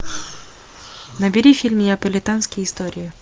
набери фильм неаполитанские истории